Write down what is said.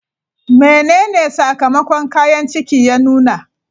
Menene sakamakon kayan ciki ya nuna?